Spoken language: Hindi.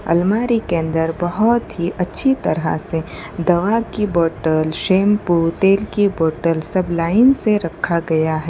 अलमारी के अंदर बहुत ही अच्छी तरह से दवा की बोतल शैंपू तेल की बोतल सब लाइन से रखा गया है।